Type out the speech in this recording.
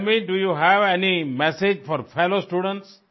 tell me do you have any message for fellow students